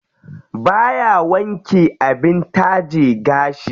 Baya wanke abin taje gashi.